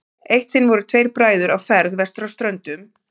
eitt sinn voru tveir bræður á ferð vestur á ströndum